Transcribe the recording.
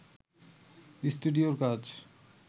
স্টুডিওর কাজ